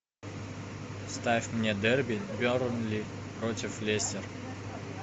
ставь мне дерби бернли против лестер